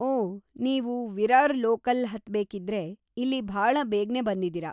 ಓಹ್‌, ನೀವು ವಿರಾರ್‌ ಲೋಕಲ್‌ ಹತ್ಬೇಕಿದ್ರೆ ಇಲ್ಲಿ ಭಾಳ ಬೇಗ್ನೆ ಬಂದಿದೀರ.